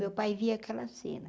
Meu pai via aquela cena.